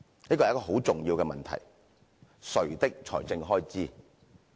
"這是很重要的問題，誰的財政開支？